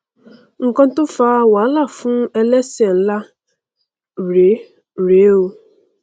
nnkan tó fa wàhálà fún ẹlẹsẹ nlá rèé rèé o